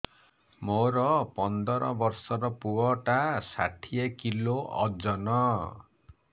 ମୋର ପନ୍ଦର ଵର୍ଷର ପୁଅ ଟା ଷାଠିଏ କିଲୋ ଅଜନ